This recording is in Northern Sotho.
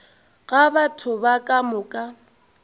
ga batho ba ka moka